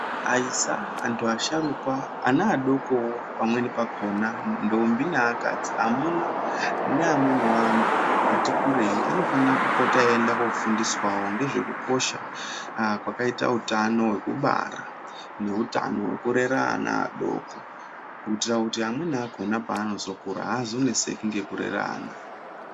Aisa, antu asharukwa, ana adokowo pamweni pakhona ndombi neakadzi, amuna neamweniwo antu ati kurei anofana kupota eienda kofundiswawo ngezvekukosha kwakaita utano wekubara neutano hwekurera ana adoko kuitira kuti amweni akhona panozokura azoneseki ngekurera ana.